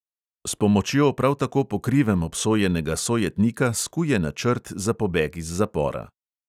S pomočjo prav tako po krivem obsojenega sojetnika skuje načrt za pobeg iz zapora.